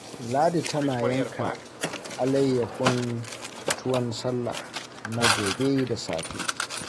Ladi tana yanka alayyahun tuwon sallah na gobe da safe